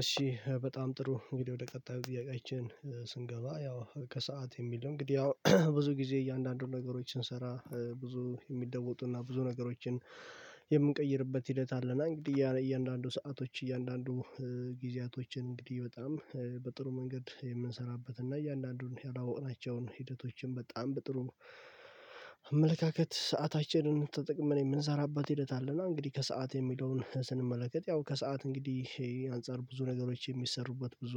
እሺ በጣም ጥሩ እንግዲህ ወደ ቀጣዩ ጥያቄያችን ስንገባ ያው ከሰአት የሚል እንግዲህ ያው ብዙ ጊዜ እያንዳንዱን ነገሮችን ስንሰራ ብዙ የሚደወጡ እና ብዙ ነገሮችን የምንቀይርበት ሂደት አለና እንግዲህ እያንዳንዱ ሰአቶች እያንዳንዱ ጊዜያቶችን እንግዲህ በጣም በጥሩ መንገድ የምንሰራበት እና እያንዳንዱን ያላወቅናቸውን ሂደቶችን በጣም በጥሩ አመለካከት ሰአታችንን ተጠቅመን የምንሰራበት ሂደት አለና እንግዲህ ከሰአት የሚለውን ስንመለከት ያው ከሰአት እንግዲህ አንፃር ብዙ ነገሮች የሚሰሩበት ብዙ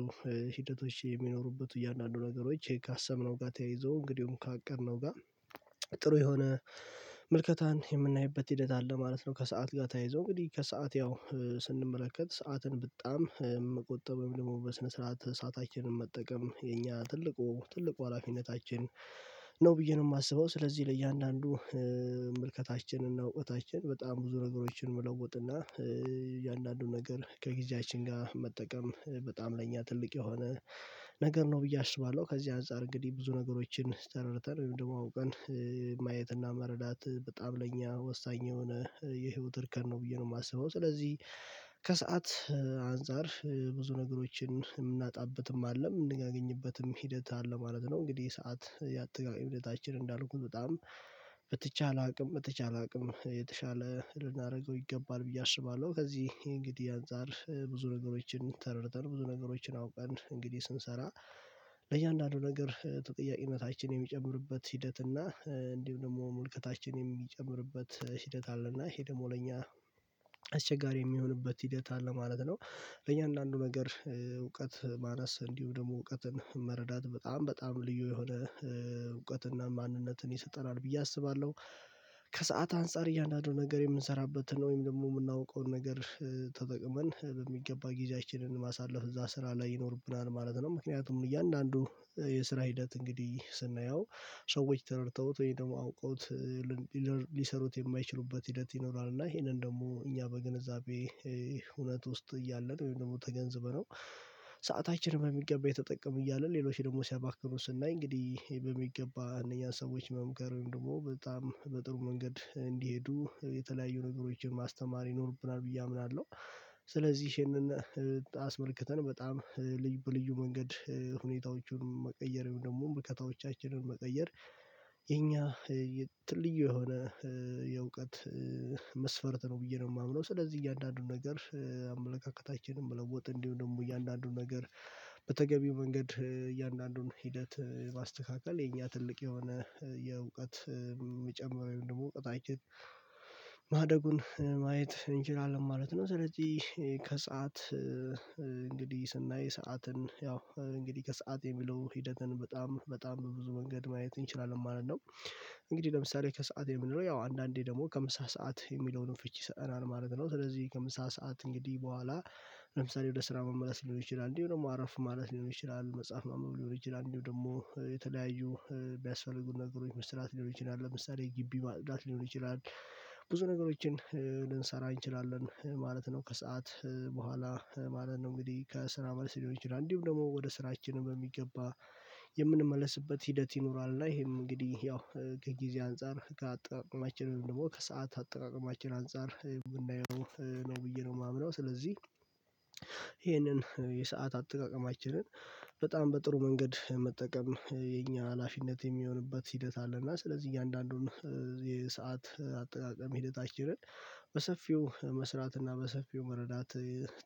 ሂደቶች የሚኖሩበት እያንዳንዱ ነገሮች ይሄ ካሰብነው ጋር ተያይዞ እንግዲሁም ካቀድነው ጋር ጥሩ የሆነ ምልከታን የምናይበት ሂደት አለ ማለት ነው። ከሰአት ጋር ተያይዞ እንግዲህ ከሰአት ያው ስንመለከት ሰዓትን በጣም መቆጠብ ደግሞ በስነ ስርዓት ሰአታችንን መጠቀም የኛ ትልቁ ትልቁ ሀላፊነታችን ነው ብዬ ነው የማስበው። ስለዚህ ለእያንዳንዱ መልከታችንና እውቀታችን በጣም ብዙ ነገሮችን መለወጥ እና እያንዳንዱን ነገር ከጊዜያችን ጋር መጠቀም በጣም ለእኛ ትልቅ የሆነ ነገር ነው ብዬ አስባለሁ። ከዚህ አንፃር እንግዲህ ብዙ ነገሮችን ተረድተን ወይ ደግሞ አውቀን ማየት እና መረዳት በጣም ለእኛ ወሳኝ የሆነ የህይወት እርከን ነው ብዬ ነው የማስበው። ስለዚህ ከሰአት አንፃር ብዙ ነገሮችን የምናጣበትም አይደለም እንደምናገኝበትም ሂደት አለ ማለት ነው። እንግዲህ ሰዓት የአጠቃላይ ሁለታችን እንዳልኩት በጣም በተቻለአቅም በተቻለ አቅም የተሻለ ልናደርገው ይገባል ብዬ አስባለሁ። ከዚህ እንግዲህ አንፃር ብዙ ነገሮችን ተረድተን ብዙ ነገሮችን አውቀን እንግዲህ ስንሰራ ለእያንዳንዱ ነገር ተጠያቂነታችን የሚጨምርበት ሂደት እና እንዲሁ ደግሞ ምልከታችን የሚጨምርበት ሂደት አለ እና ይሄ ደግሞ ለኛ አስቸጋሪ የሚሆንበት ሂደት አለ ማለት ነው። ለእያንዳንዱ ነገር እውቀት ማነስ እንዲሁ ደግሞ እውቀትን መረዳት በጣም በጣም ልዩ የሆነ እውቀት እና ማንነትን ይሰጠናል ብዬ አስባለሁ። ከሰአት አንፃር እያንዳንዱ ነገር የምንሰራበትን ነው ወይም ደግሞ የምናውቀውን ነገር ተጠቅመን በሚገባ ጊዜያችንን ማሳለፍ እዛ ስራ ላይ ይኖርብናል ማለት ነው። ምክንያቱም እያንዳንዱ የስራ ሂደት እንግዲህ ስናየው ሰዎች ተረድተውት ወይም ደግሞ አውቀውት ሊሰሩት የማይችሉበት ሂደት ይኖራል። እና ይሄንን ደግሞ እኛ በግንዛቤ እውነት ውስጥ እያለ ነው ወይም ደግሞ ተገንዝበነው ሰአታችንን በሚገባ እየተጠቀምን እያልን ሌሎች ደግሞ ሲያባክኑ ስናይ እንግዲህ በሚገባ አንደኛ ሰዎች መምከር ወይም ደግሞ በጣም በጥሩ መንገድ እንዲሄዱ የተለያዩ ነገሮችን ማስተማር ይኖርብናል ብዬ አምናለሁ። ስለዚህ ይሄንን አስመልክተን በጣም በልዩ መንገድ ሁኔታዎቹን መቀየር ደግሞ ምርልከታዎቻችንን መቀየር የኛ ልዩ የሆነ የእውቀት መስፈርት ነው ብዬ ነው የማምነው። ስለዚህ እያንዳንዱን ነገር አመለካከታችንን መለወጥ እንዲሁ ደግሞ እያንዳንዱን ነገር በተገቢው መንገድ እያንዳንዱን ሂደት ማስተካክል የኛ ትልቅ የሆነ የእውቀት የሚጨምረው ወይም ደግሞ እውቀታችን ማደጉን ማየት እንችላለን ማለት ነው። ስለዚህ ከሰአት እንግዲህ ስናይ ሰዓትን ያው እንግዲህ ከሰአት የሚለው ሂደትን በጣም በጣም በብዙ መንገድ ማየት እንችላለን ማለት ነው። እንግዲህ ለምሳሌ ከሰአት የምንለው ያው አንዳንዴ ደግሞ ከምሳ ሰዓት የሚለውን ፍቺ ይሰጠናል ማለት ነው። ስለዚህ ከምሳ ሰዓት እንግዲህ በኋላ ለምሳሌ ወደ ስራ መመለስ ሊሆን ይችላል እንዲሁ ደግሞ አረፍ ማለት ሊሆን ይችላል መጽሐፍ ማንበብ ሊሆን ይችላል እንዲሁ ደግሞ የተለያዩ የሚያስፈልጉን ነገሮች መስራት ሊሆን ይችላል ለምሳሌ ግቢ ማጽዳት ሊሆን ይችላል። ብዙ ነገሮችን ልንሰራ እንችላለን ማለት ነው። ከሰአት በኋላ ማለት ነው እንግዲህ ከስራ መልስ ሊሆን ይችላል እንዲሁም ደግሞ ወደ ስራችን በሚገባ የምንመለስበት ሂደት ይኖራል። እና ይሄም እንግዲህ ያው ጊዜ አንፃር ከአጠቃቀማችን ደግሞ ከሰአት አጠቃቀማችን አንፃር ብናየው ነው ብዬ ነው የማምነው። ስለዚህ ይሄንን የሰዓት አጠቃቀማችንን በጣም በጥሩ መንገድ መጠቀም የኛ ሀላፊነት የሚሆንበት ሂደት አለና ስለዚህ እያንዳንዱን የሰዓት አጠቃቀም ሂደታችንን በሰፊው መስራት እና በሰፊው መረዳት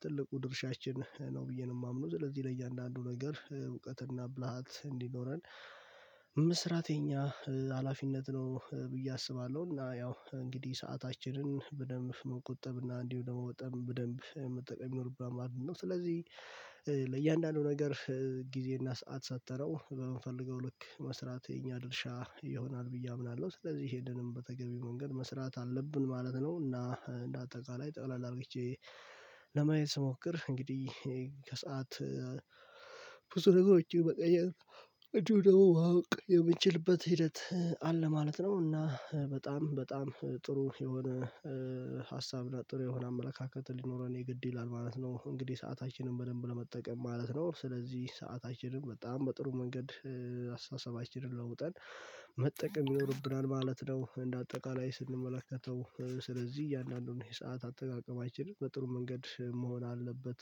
ትልቁ ድርሻችን ነው ብዬ ነው የማምነው። ስለዚህ ለእያንዳንዱ ነገር እውቀት እና ብልሃት እንዲኖረን መስራተ የኛ ሀላፊነት ነው ብዬ አስባለሁ። እና ያው እንግዲህ ሰአታችንን በደንብ መቆጠብ እና እንዲሁ በደንብ መጠቀም ይኖርብናል ማለት ነውስለዚህ። ለእያንዳንዱ ነገር ጊዜ እና ሰዓት ሰትረው በምንፈልገው ልክ መስራት የኛ ድርሻ ይሆናል ብዬ አምናለሁ። ስለዚህ ሄደንም በተገቢ መንገድ መስራት አለብን ማለት ነው። እና እንደ አጠቃላይ ጠቅለለ አድርጌ ስሞክር እንግዲህ ከሰአት ብዙ ነገሮች መቀየር እንዲሁም ደግሞ ማቅ የምችልበት ሂደት አለ ማለት ነው። እና በጣም በጣም ጥሩ የሆነ ሀሳብ ጥሩ የሆነ አመለካከት ሊኖረን የግድ ይላል ማለት ነው። እንግዲህ ሰአታችንን በደንብ ለመጠቀም ማለት ነው። ስለዚህ ሰአታችንን በጣም በጥሩ መንገድ አስተሳሰባችንን ለውጠን መጠቀም ይኖርብናል ማለት ነው። እንደ አጠቃላይ ስንመለከተው ስለዚህ እያንዳንዱን የሰዓት አጠቃቀማችንን በጥሩ መንገድ መሆን አለበት